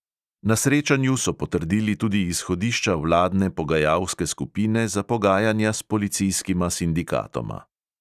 Na srečanju so potrdili tudi izhodišča vladne pogajalske skupine za pogajanja s policijskima sindikatoma.